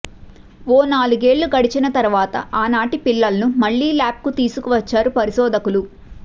ఓ నాలుగేళ్లు గడచిన తర్వాత ఆనాటి పిల్లలను మళ్లీ ల్యాబ్కు తీసుకువచ్చారు పరిశోధకులు